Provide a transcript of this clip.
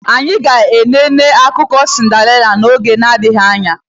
Anyị ga enene akụkọ sindarela oge na adịghị anya